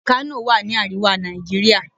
Kano wà ni àríwá Nàìjíríà.